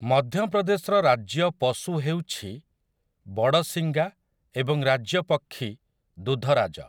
ମଧ୍ୟପ୍ରଦେଶର ରାଜ୍ୟ ପଶୁ ହେଉଛି ବଡ଼ଶିଙ୍ଗା ଏବଂ ରାଜ୍ୟ ପକ୍ଷୀ ଦୁଧରାଜ ।